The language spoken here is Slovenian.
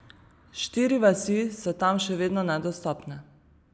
Štiri vasi so tam še vedno nedostopne.